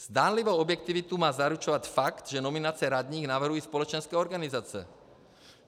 Zdánlivou objektivitu má zaručovat fakt, že nominace radních navrhují společenské organizace.